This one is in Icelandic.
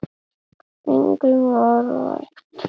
Engum var vægt.